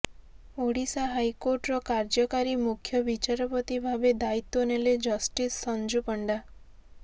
Odisha high କୋର୍ଟର କାର୍ଯ୍ୟକାରୀ ମୁଖ୍ୟ ବିଚାରପତି ଭାବେ ଦାୟିତ୍ବ ନେଲେ ଜଷ୍ଟିସ୍ ସଞ୍ଜୁ ପଣ୍ଡା